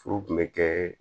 Furu kun bɛ kɛ